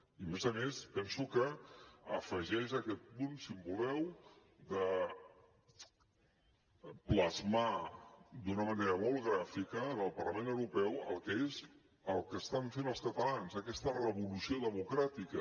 i a més a més penso que afegeix aquest punt si voleu de plasmar d’una manera molt gràfica en el parlament europeu el que estan fent els catalans aquesta revolució democràtica